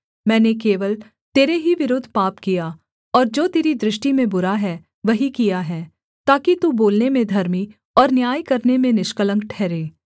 मैंने केवल तेरे ही विरुद्ध पाप किया और जो तेरी दृष्टि में बुरा है वही किया है ताकि तू बोलने में धर्मी और न्याय करने में निष्कलंक ठहरे